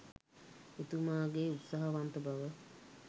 එතුමාගේ උත්සාහවන්ත බව.